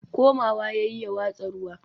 komawa yayi ya watsa ruwa